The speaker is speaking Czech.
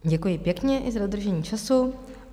Děkuji pěkně i za dodržení času.